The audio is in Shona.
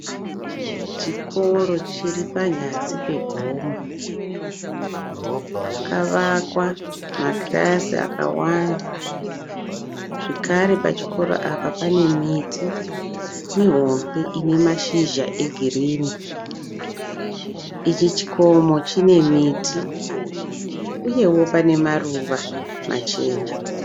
Chikoro chiri panyasi pegomo. Pakavakwa makirasi akawanda zvekare pachikoro apa pane miti mihombe ine mashizha egirinhi. Ichi chikomo chine miti uyewo pane maruva machena.